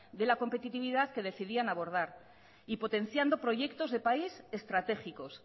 de la competitividad que decidían abordar y potenciando proyectos de país estratégicos